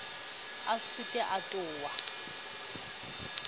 a se ke a ota